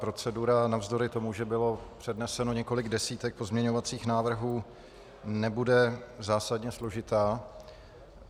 Procedura navzdory tomu, že bylo předneseno několik desítek pozměňovacích návrhů, nebude zásadně složitá.